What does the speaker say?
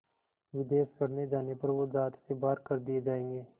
विदेश पढ़ने जाने पर वो ज़ात से बाहर कर दिए जाएंगे